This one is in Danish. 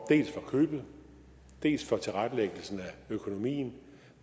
købet dels for tilrettelæggelsen af økonomien